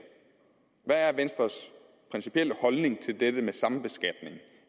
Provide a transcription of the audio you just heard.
hvad er venstres principielle holdning til det med sambeskatning